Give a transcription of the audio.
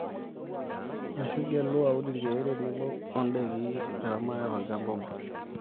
ashu igelu aun ilkiek tenebo ndaiki oo eramate to olchamba obo